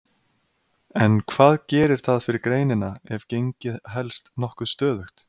En hvað gerir það fyrir greinina ef gengið helst nokkuð stöðugt?